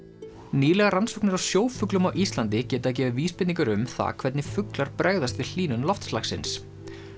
nýlegar rannsóknir á sjófuglum á Íslandi geta gefið vísbendingar um það hvernig fuglar bregðast við hlýnun loftslagsins